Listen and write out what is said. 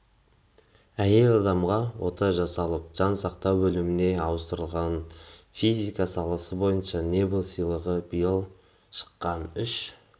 әйел адамға ота жасалып жан сақтау бөліміне ауыстырылған физика саласы бойынша нобель сыйлығы биыл шыққан үш